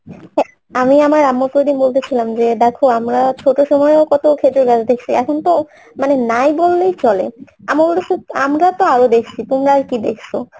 আমি আমার আম্মু কে বলতেছিলাম যে দেখো আমরা ছোট্ট সময়ও কত খেজুর গাছ দেখসি এখন তো মানে নাই বললেই চলে আমরা তো আরও দেখসি তোমরা আরকি দেখসো